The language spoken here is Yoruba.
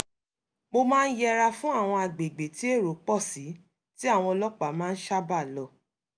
mo máa ń yẹra fún àwọn àgbègbè tí èrò pọ̀ sí tí àwọn ọlọ́pàá máa ń sábàá lọ